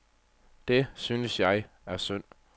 Det, synes jeg, er synd.